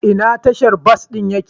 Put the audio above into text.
Ina tashar bas ɗin ya ke?